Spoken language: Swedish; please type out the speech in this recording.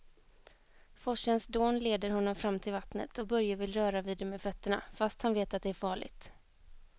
Forsens dån leder honom fram till vattnet och Börje vill röra vid det med fötterna, fast han vet att det är farligt.